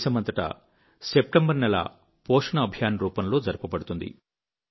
దేశమంతటా సెప్టెంబరు నెల పోషణ అభియాన్ రూపంలో జరుపబడుతుంది